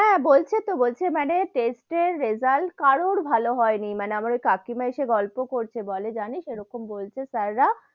হ্যা, বলছে তো বলছে মানে test এর result কারুর ভালো হয় নি, মানে আমার ওই কাকিমা এসে গল্প করছে বলে জানিস এরকম বলছে sir রা,